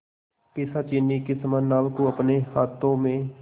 पिशाचिनी के समान नाव को अपने हाथों में